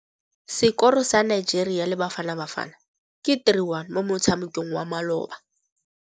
Sekôrô sa Nigeria le Bafanabafana ke 3-1 mo motshamekong wa malôba.